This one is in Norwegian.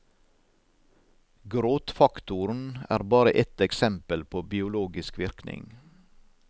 Gråtfaktoren er bare ett eksempel på biologisk virkning.